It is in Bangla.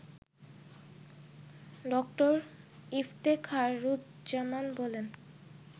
ড. ইফতেখারুজ্জামান বলেন